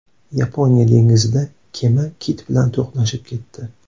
Yaponiya dengizida kema kit bilan to‘qnashib ketdi.